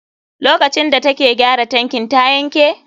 Lokacin da take gyara tankin ta yanke?